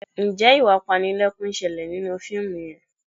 Ǹjẹ́ ìwà apanilẹ́kún ń ṣẹlẹ̀ nínú fíìmù yẹn?